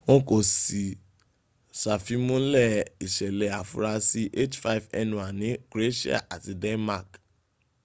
wọn kò sií ì sàfimúnlẹ̀ ìṣẹ̀lẹ̀ afurasí h5n1 ní croatia àti denmark